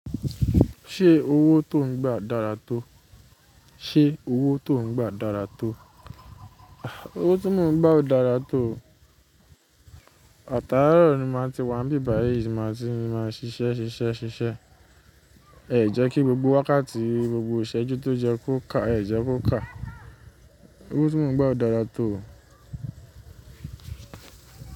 Ṣé owó tó ń gbà dára tó? Ṣé owó tó ń gbà dára tó? Owó tí mò ń gbà ò dára tó. Àtàárọ̀ ni màá ti wà níbẹ̀ báyìí, ṣì má tí ni màá ṣiṣẹ́ ṣiṣẹ́ ṣiṣẹ́. Ẹ jẹ́ kí gbogbo wákàtí, gbogbo ìṣẹ́jú tó jẹ́ kó kà, ẹ jẹ́ kó kà. Owó tí mò ń gbà ò dára tó.